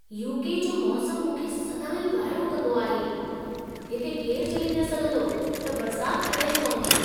UK. जो मौसमु मूंखे सदाईं वाइड़ो कंदो आहे ! हिते केरु चई न सघंदो, त बरसात कॾहिं पवंदी।